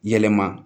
Yɛlɛma